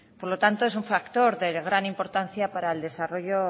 por lo tanto es un factor de gran importancia para el desarrollo